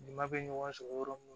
Ɲama bɛ ɲɔgɔn sɔrɔ yɔrɔ mun